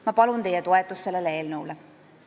Ma palun sellele eelnõule teie toetust.